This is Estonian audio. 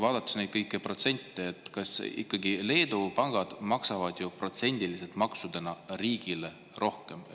Vaadates neid kõiki protsente, ikkagi Leedu pangad maksavad protsendiliselt maksudena riigile rohkem.